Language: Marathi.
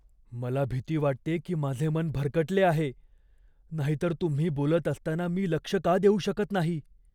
मला भीती वाटते की माझे मन भरकटले आहे, नाहीतर तुम्ही बोलत असताना मी लक्ष का देऊ शकत नाही?